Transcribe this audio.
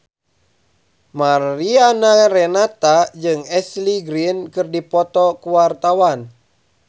Mariana Renata jeung Ashley Greene keur dipoto ku wartawan